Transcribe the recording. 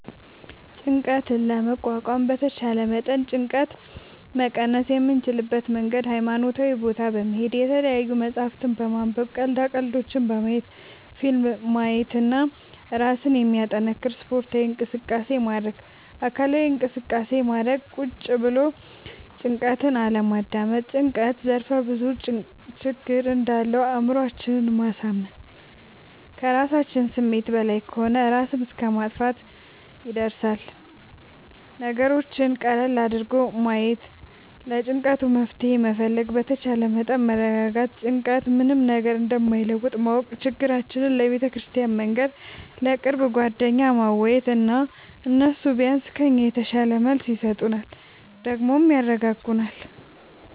ጭንቀት ለመቋቋም በተቻለ መጠን ጭንቀት መቀነስ የምንችልበት መንገድ ሀይማኖታዊ ቦታ በመሄድ፣ የተለያዪ መፅሀፍት በማንበብ፣ ቀልዳ ቀልዶች በማየት፣ ፊልም ማየት እና እራስን የሚያጠነክር ስፓርታዊ እንቅስቃሴ ማድረግ። አካላዊ እንቅስቃሴ ማድረግ ቁጭ ብሎ ጭንቀትን አለማዳመጥ። ጭንቀት ዘርፍ ብዙ ችግር እንዳለው አእምሮአችን ማሳመን ከራሳችን ስሜት በላይ ከሆነ እራስን እስከ ማጥፍትም ይደርሳል። ነገሮችን ቀለል አድርጎ ማየት ለጭንቀቱ መፍትሄ መፈለግ በተቻለ መጠን መረጋጋት ጭንቀት ምንም ነገር እንደማይለውጥ ማወቅ ችግራችን ለቤተክርስቲያን መንገር፣ ለቅርብ ጓደኛ ማዋየት እና እነሱ ቢያንስ ከኛ የተሻለ መልስ ይሰጡናል ደግሞም ያረጋጉናል።